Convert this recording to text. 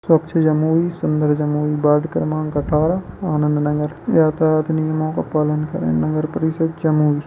स्वच्छ जमुई सुन्दर जमुई वार्ड क्रमांक अठारह आनंद नगर यातायात नियमों का पालन करें नगर परिषद् जमुई।